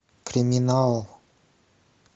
криминал